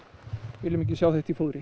við viljum ekki sjá þetta í fóðri